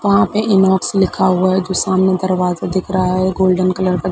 वह पे इनबॉक्स लिखा हुआ है जो सामने दरवाजे दिख रहा है गोल्डन कलर का --